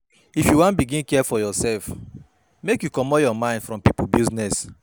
If you wan begin care for yoursef, make you comot your mind from pipo business.